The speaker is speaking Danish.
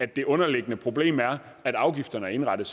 det underliggende problem er at afgifterne er indrettet